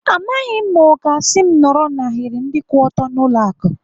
Amaghị m ma ọ ga-asị m nọrọ n'ahiri ndị kwụ ọtọ n'ụlọ akụ.